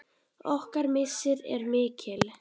Okkar missir er mikill.